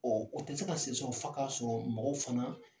o tɛ se ka se sɔrɔ f'a k'a sɔrɔ mɔgɔw fana